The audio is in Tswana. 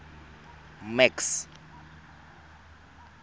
max